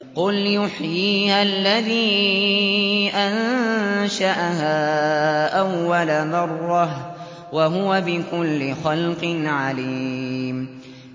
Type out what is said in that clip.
قُلْ يُحْيِيهَا الَّذِي أَنشَأَهَا أَوَّلَ مَرَّةٍ ۖ وَهُوَ بِكُلِّ خَلْقٍ عَلِيمٌ